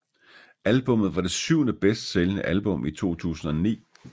Albummet var det syvende bedst sælgende album i 2009